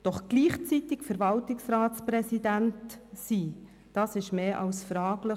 Doch gleichzeitig Verwaltungsratspräsident zu sein, ist mehr als fragwürdig.